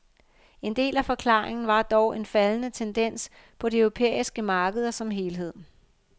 En del af forklaringen var dog en faldende tendens på de europæiske markeder som helhed.